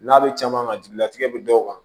N'a bɛ caman ka jigilatigɛ bɛ dɔw kan